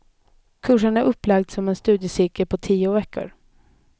Kursen är upplagd som en studiecirkel på tio veckor.